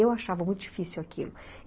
Eu achava muito difícil aquilo.